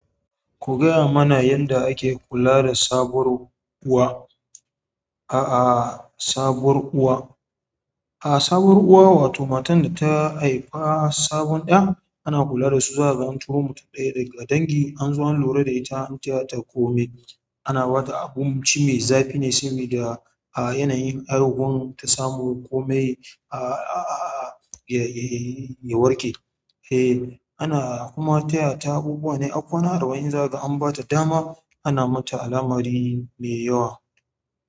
Ku gaya mana yadda ake kula da sabuwar uwa, a a sabuwar uwa. A a sabuwar uwa wato matan da ta haifi sabon ɗa ana kula da su zakag an turomutum ɗaya daga dangi anzo an lura da ita har ta komai ana ba ta abinci zafi ne sabi da a yanayin argun ta samu komai a a a ya ya warke. Eh ana kuma taya ta abubuwa ne har kwana arba'in za ka an ba ta dama ana mata al'amari mai yawa.